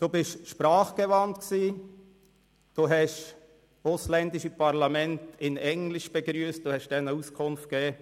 Sie sind sprachgewandt, haben ausländische Parlamente in Englisch begrüsst, ihnen Auskunft gegeben.